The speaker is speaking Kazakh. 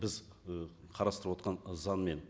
біз і қарастырып отырған заңмен